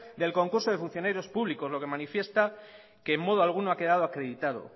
del concurso de funcionarios públicos lo que manifiesta que en modo alguno ha quedado acreditado